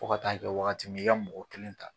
Fo ka taa kɛ wagati min ye i ka mɔgɔ kelen ta